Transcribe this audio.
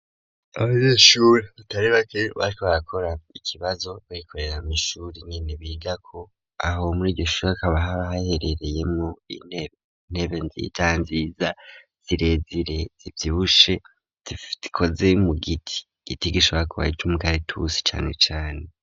Abanyeshure batari bake bariko barakora ikibazo bikorera mu ishure nyine biga ko aho muri iryoshure hakaba hahaherereye mwo intebe nziza nziza zirezire zivyibushe zikoze mu giti igiti gishobara kuba ari ikimikaratusi cane cane.